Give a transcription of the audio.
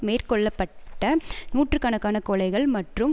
மேற்கொள்ள பட்ட நூற்று கணக்கான கொலைகள் மற்றும்